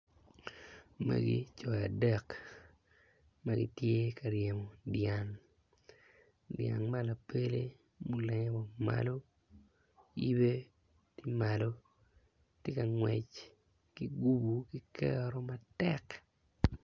Magi co adek ma gitye ka ryemo dyang, dyang ma lapele olenge malo ibe tye malo tye ka ngwec ki gubo ki kero matek.